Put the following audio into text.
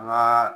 Nka